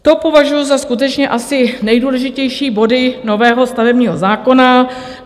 To považuji za skutečně asi nejdůležitější body nového stavebního zákona.